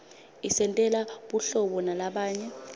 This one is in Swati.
isentela buhlobo nalabanye